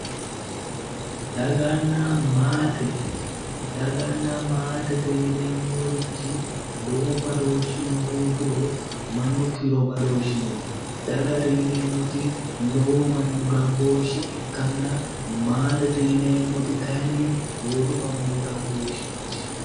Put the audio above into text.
daganna maate daganna maatete yineemmorichi lowo badooshshino hoogiro mannu kiiro badooshshi no dagate yinemmoti lowo manni gambooshshe ikkanna maatete yineemmoti kayinni boodu manni gambooshsheeti.